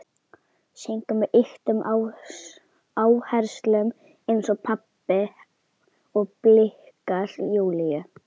Syngur með ýktum áherslum eins og pabbi og blikkar Júlíu.